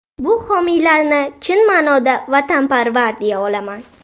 Bu homiylarni chin ma’noda vatanparvar deya olaman.